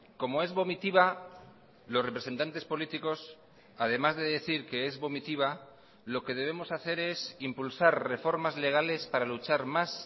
como es vomitiva los representantes políticos además de decir que es vomitiva lo que debemos hacer es impulsar reformas legales para luchar más